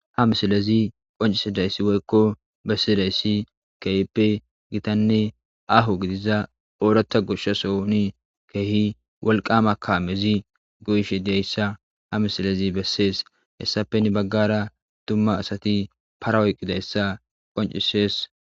ha misilezi qoncisidayssi woykko bessidayssi keehippe gitanne aho gidiza ooratta goshshasoni keehi walqama kamezi goyishe dayssa ha misilazi bessees hessafeni baggara dumma asati parawoyqqidayssa qoncisees